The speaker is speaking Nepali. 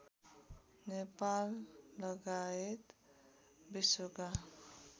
नेपाल लगायत विश्वका